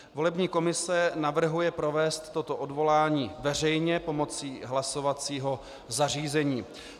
Volební komise navrhuje provést toto odvolání veřejně pomocí hlasovacího zařízení.